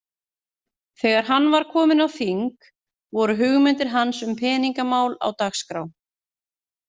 Þegar hann var kominn á þing, voru hugmyndir hans um peningamál á dagskrá.